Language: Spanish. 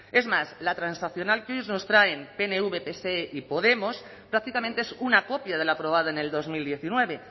es más la transaccional que hoy nos traen pnv pse y podemos prácticamente es una copia de lo aprobado en el dos mil diecinueve